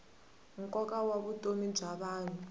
nkoka wa vutomi bya vanhu